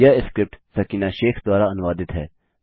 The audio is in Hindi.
यह स्क्रिप्ट सकीना शेख द्वारा अनुवादित है